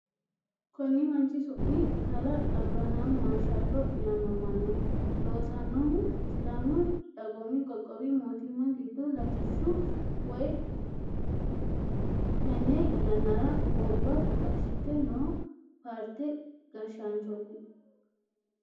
Konni manchi su'mi kalaa abirihaami maarshaallo yaamamanno. Loosannohu sidaamu dagoomu qoqqowi mootimma giddo latishshu woyi tenne yannara gobba gashshite noo paarte gashshaanchooti.